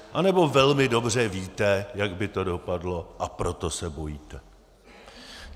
Anebo velmi dobře víte, jak by to dopadlo, a proto se bojíte?